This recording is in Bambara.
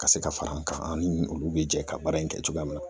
Ka se ka fara an kan an ni olu bɛ jɛ ka baara in kɛ cogoya min na